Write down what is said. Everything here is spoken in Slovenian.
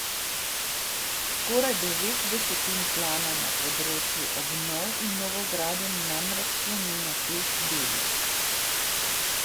Skoraj devet desetin plana na področju obnov in novogradenj namreč sloni na teh delih.